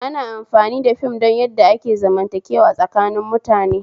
Ana amfani da fim don yadda ake zamantakewa tsakanin mutane